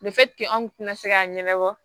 anw kun tɛna se k'a ɲɛnabɔ